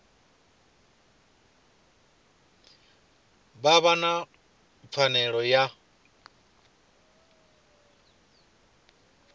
vha vha na pfanelo ya